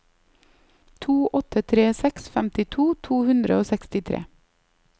to åtte tre seks femtito to hundre og sekstitre